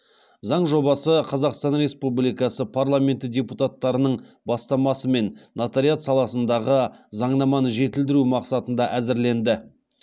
заң жобасы қазақстан республикасы парламенті депутаттарының бастамасымен нотариат саласындағы заңнаманы жетілдіру мақсатында әзірленді